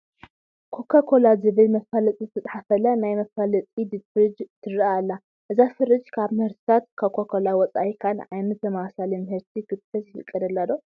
Cocacola ዝብል መፋለጢ ዝተፃሕፈላ ናይ መፋለጢ ፍርጅ ትርአ ኣላ፡፡ እዛ ፍርጅ ካብ ምህርትታት ኮካኮላ ወፃኢ ካልእ ዓይነት ተመሳሳሊ ምህርቲ ክትሕዝ ይፍቀደላ ዶ?